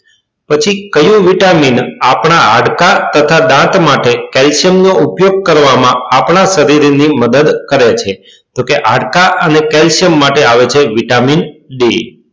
પછી કયું vitamin આપદા હાડકા તથા દાંત માટે calcium નો ઉપયોગ કરવા માં આપણા શરીર ની મદદ કરે છે તો કે હાડકા અને calcium માટે આવે છે vitamin d